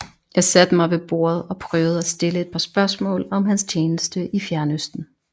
Jeg satte mig ved bordet og prøvede at stille et par spørgsmål om hans tjeneste i fjernøsten